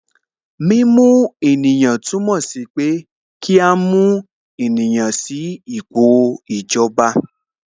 Mímú ènìyàn túmọ̀ sí pé kí a mú ènìyàn sí ipò ìjọba